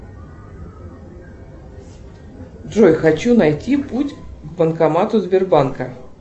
джой хочу найти путь к банкомату сбербанка